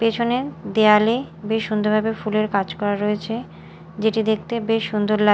পেছনে দেওয়ালে বেশ সুন্দরভাবে ফুলের কাজ করা রয়েছে যেটি দেখতে বেশ সুন্দর লাগ--